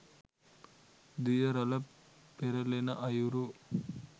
දිය රළ පෙරළෙන අයුරු